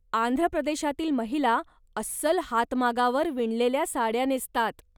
आंध्रप्रदेशातील महिला अस्सल हातमागावर विणलेल्या साड्या नेसतात.